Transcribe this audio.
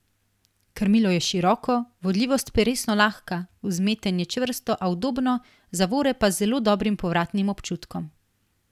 Krmilo je široko, vodljivost peresno lahka, vzmetenje čvrsto, a udobno, zavore pa z zelo dobrim povratnim občutkom.